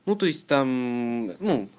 ну то есть там